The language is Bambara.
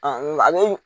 nka a bɛ